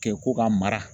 Kɛ ko ka mara